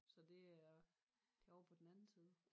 Så det er det ovre på den anden side